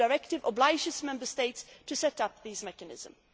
The Directive obliges Member States to set up these mechanisms.